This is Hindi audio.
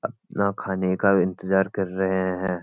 अपना खाने का इंतजार कर रहे हैं|